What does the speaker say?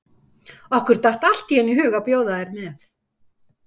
Okkur datt allt í einu í hug að bjóða þér með.